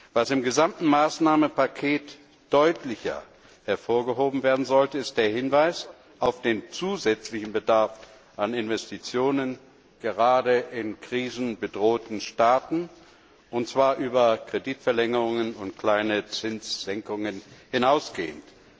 Was im gesamten Maßnahmenpaket deutlicher hervorgehoben werden sollte, ist der Hinweis auf den zusätzlichen Bedarf an Investitionen gerade in krisenbedrohten Staaten, und zwar über Kreditverlängerungen und kleine Zinssenkungen hinausgehend.